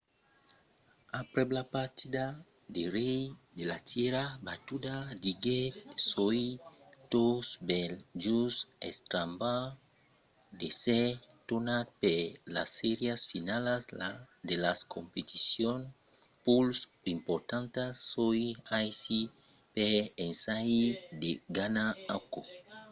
aprèp la partida lo rei de la tèrra batuda diguèt soi tot bèl just estrambordat d'èsser tornat per las sèrias finalas de las competicions pus importantas. soi aicí per ensajar de ganhar aquò.